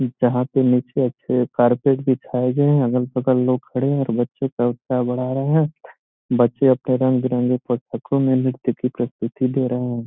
जहाॅं पे नीचे कारपेट बिछाए गए है अगल -बगल लोग खड़े हैं और बच्चो का उत्साह बढ़ा रहे हैं। बच्चें अपने रंग -बिरंगे पुस्तकों प्रस्तुति दे रहे है|